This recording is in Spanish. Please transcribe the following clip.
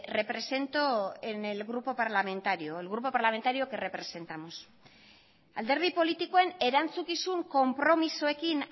represento en el grupo parlamentario el grupo parlamentario al que representamos alderdi politikoen erantzukizun konpromisoekin